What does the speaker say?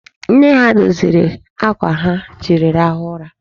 Nne ha doziri akwa ha ji rahụ ụra.